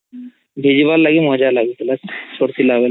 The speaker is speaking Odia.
ଭିଜିବାର୍ଲାଗି ମଜା ଲାଗୁଥିଲା ଚୋଟ୍ ଥିଲା ବେଳେ